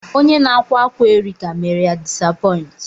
Onye na-akwa akwa Erica mere ya disapoint.